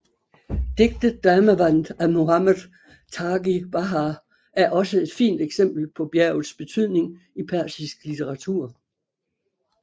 Digtet Damāvand af Mohammad Taghi Bahar er også et fint eksempel på bjergets betydning i persisk litteratur